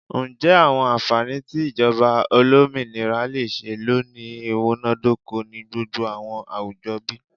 Njẹ awọn anfani ti ijọba olominira le ṣee lo ni imunadoko ni gbogbo awọn awujọ bi?